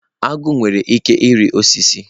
Agụ nwere ike ịrị osisi.